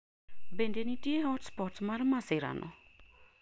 Bende nitie hotspot mar masirano?